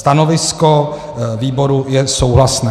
Stanovisko výboru je souhlasné.